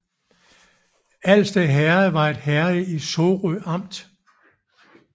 Alsted Herred var et herred i Sorø Amt